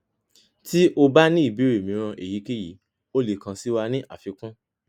ti o ba ni ibeere miiran eyikeyi o le kan si wa ni afikun